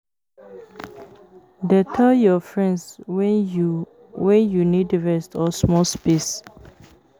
Dey tell your friends when you when you need rest or space small.